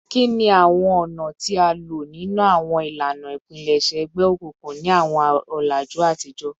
Kini awọn ọna ti a lo ninu awọn ilana ipilẹṣẹ egbeokunkun ni awọn ọlaju atijọ?